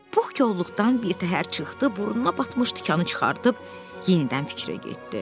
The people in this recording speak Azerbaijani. Pux kolluqdan birtəhər çıxdı, burnuna batmış tikanı çıxardıb yenidən fikrə getdi.